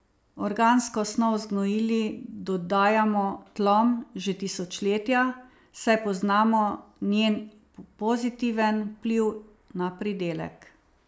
Organsko snov z gnojili dodajamo tlom že tisočletja, saj poznamo njen pozitiven vpliv na pridelek.